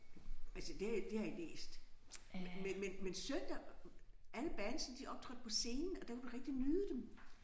Altså det har jeg det har jeg læst. Men søndag alle bandsne optrådte på scenen og der kan du rigtig nyde dem